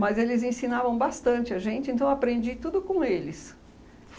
Mas eles ensinavam bastante a gente, então eu aprendi tudo com eles.